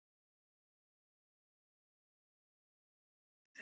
Við vorum gott teymi.